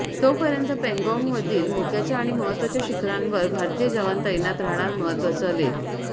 तोपर्यंत पँगाँगमधील मोक्याच्या आणि महत्त्वाच्या शिखरांवर भारतीय जवान तैनात राहणार महत्तवाचा लेख